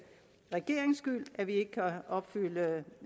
regerings skyld at vi ikke kan opfylde